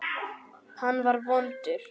Hann var vondur.